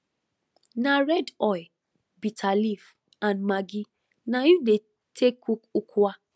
na red oil bitter leaf and maggi na im dey take cook ukwa